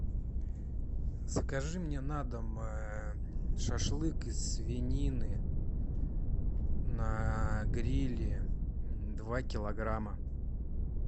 закажи мне на дом шашлык из свинины на гриле два килограмма